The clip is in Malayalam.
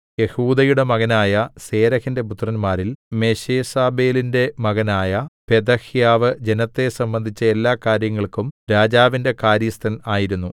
യെഹൂദയുടെ മകനായ സേരെഹിന്റെ പുത്രന്മാരിൽ മെശേസബേലിന്റെ മകനായ പെഥഹ്യാവ് ജനത്തെ സംബന്ധിച്ച എല്ലാകാര്യങ്ങൾക്കും രാജാവിന്റെ കാര്യസ്ഥൻ ആയിരുന്നു